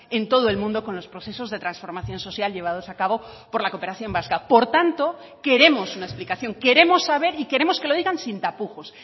en todo el mundo con los procesos de transformación social llevados a cabo por la cooperación vasca por tanto queremos una explicación queremos saber y queremos que lo digan sin tapujos